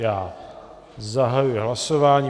Já zahajuji hlasování.